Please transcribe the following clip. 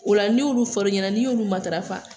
Ola n'i y'olu fɔr'i ɲɛna n'i y'olu matarafa.